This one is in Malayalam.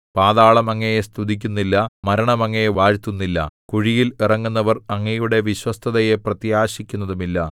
പാതാളം അങ്ങയെ സ്തുതിക്കുന്നില്ല മരണം അങ്ങയെ വാഴ്ത്തുന്നില്ല കുഴിയിൽ ഇറങ്ങുന്നവർ അങ്ങയുടെ വിശ്വസ്തതയെ പ്രത്യാശിക്കുന്നതുമില്ല